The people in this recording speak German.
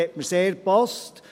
Sie hat mir sehr gepasst.